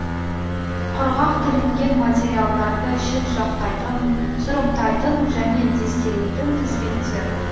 құрғақ тілінген материалдарды шетжақтайтын сұрыптайтын және дестелейтін тізбектер